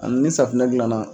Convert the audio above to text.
Ali ni safunɛ dilan na.